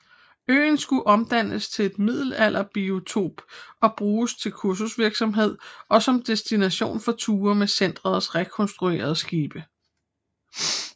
Øen skulle omdannes til en middelalderbiotop og bruges til kursusvirksomhed og som destination for ture med centrets rekonstruerede skibe